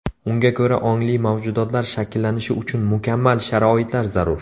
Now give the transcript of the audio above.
Unga ko‘ra, ongli mavjudotlar shakllanishi uchun mukammal sharoitlar zarur.